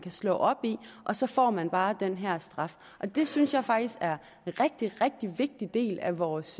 slå op i og så får man bare den her straf og det synes jeg faktisk er en rigtig rigtig vigtig del af vores